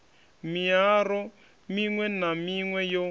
miaro miṅwe na miṅwe yo